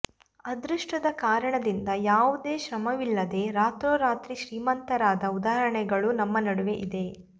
ಅದೃಷ್ಟದ ಕಾರಣದಿಂದ ಯಾವುದೇ ಶ್ರಮವಿಲ್ಲದೆ ರಾತ್ರೋರಾತ್ರಿ ಶ್ರೀಮಂತರಾದ ಉದಾಹರಣೆಗಳೂ ನಮ್ಮ ನಡುವೆ ಇದೆ